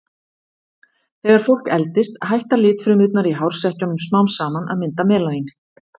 Þegar fólk eldist hætta litfrumurnar í hársekkjunum smám saman að mynda melanín.